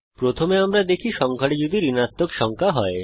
প্রথমে আমরা দেখি সংখ্যাটি যদি ঋণাত্মক সংখ্যা হয়